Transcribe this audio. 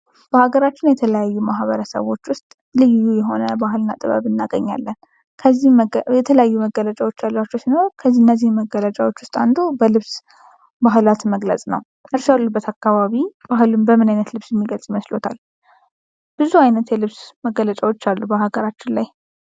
በአገራችን የተለያዩ ማህበረሰቦች ውስጥ ልዩ የሆነ ባህልና ጥበብ እናገኛለን። ከዚህም በተለያዩ መገለጫዎች አሏቸው ሲሆን ከዚህ እነዚህን መገለጫዎች ውስጥ አንዱ በልብስ በዓላት መግለጽ ነው ። እሺ ያሉበት አካባቢ ባህልን በምን ዓይነት ልብስ የሚገልጹ ይመስልዎታል? ብዙ አይነት የልብስ መገለጫዎች አሉት በሀገራችን ላይ።